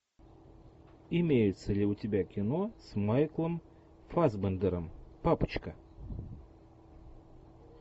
имеется ли у тебя кино с майклом фассбендером папочка